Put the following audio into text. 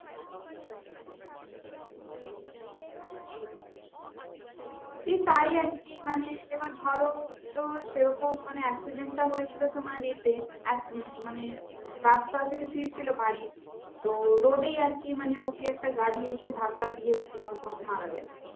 এই তাই আর কি মানে এবার ভালো তো সেরকম মানে accident টা হয়েছিল তোমার য়ে তে এক মানে থেকে ফিরছিলো বাড়ি তো road এই আর কি মানে ওকে একটা গাড়ি এসে ধাক্কা দিয়েছিলো তো ও মারা গেলো আর